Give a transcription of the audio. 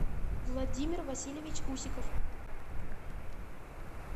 владимир васильевич усиков